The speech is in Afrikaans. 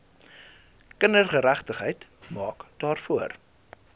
kindergeregtigheid maak daarvoor